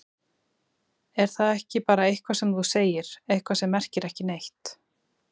Er það ekki bara eitthvað sem þú segir, eitthvað sem merkir ekki neitt?